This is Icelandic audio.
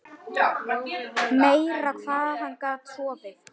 Meira hvað hann gat sofið!